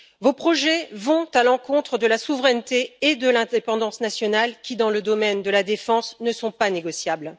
Vos projets vont à l'encontre de la souveraineté et de l'indépendance nationales qui, dans le domaine de la défense, ne sont pas négociables.